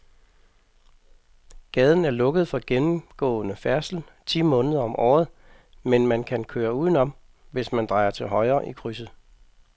Gaden er lukket for gennemgående færdsel ti måneder om året, men man kan køre udenom, hvis man drejer til højre i krydset.